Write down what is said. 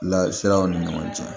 Lasiraw ni ɲɔgɔn cɛ